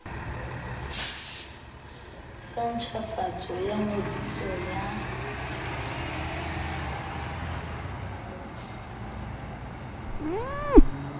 sa ntjhafatso ya ngodiso ya